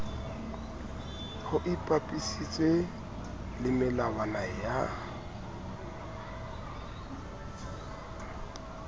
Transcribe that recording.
ho ipapisitswe le melawana ya